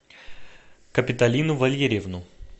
капитолину валериевну